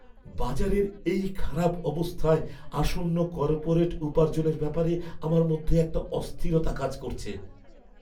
বাজারের এই খারাপ অবস্থায় আসন্ন কর্পোরেট উপার্জনের ব্যাপারে আমার মধ্যে একটা অস্থিরতা কাজ করছে।